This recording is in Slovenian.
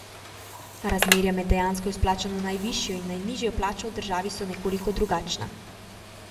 A razmerja med dejansko izplačano najvišjo in najnižjo plačo v državi so nekoliko drugačna.